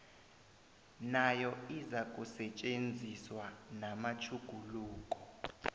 nayo izakusetjenziswa namatjhuguluko